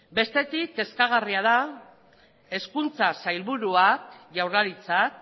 bestetik kezkagarria da hezkuntza sailburuak jaurlaritzak